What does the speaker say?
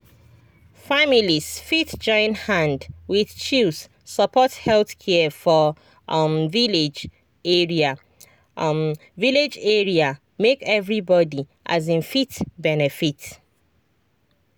families fit join hand wit chws support health care for um village area um village area make everybody um fit benefit.